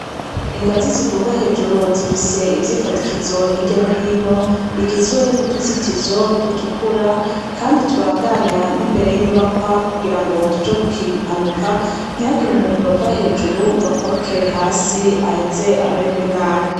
Ingazi ziduga hejuru, zifise ivyifadikizo, hirya no hino bigizwe n'utuzitizo dutukura kandi tubandanya n'imbere y'inyubakwa, kugira ngo tuje gukinga impanuka, ntihagire umuntu yova hejuru ngo akorokere hasi, aheze ameregwe nabi.